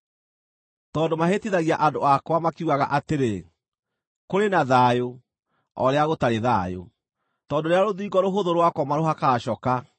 “ ‘Tondũ mahĩtithagia andũ akwa, makiugaga atĩrĩ, “Kũrĩ na thayũ,” o rĩrĩa gũtarĩ thayũ; tondũ rĩrĩa rũthingo rũhũthũ rwakwo marũhakaga coka,